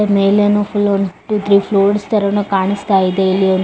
ಮೇಲೇನು ಫುಲ್ಲುನು one two three floors ತರನು ಕಾಣಸ್ತಿದೆ ಇಲ್ಲಿ ಒಂದು --